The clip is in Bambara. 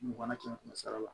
Mugan kɛmɛ sara la